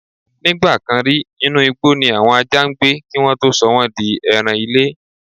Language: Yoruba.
Nígbà kan rí, inú igbó ni àwọn ajá ń gbé kí wọ́n tó sọ wọ́n di ẹran-ilé.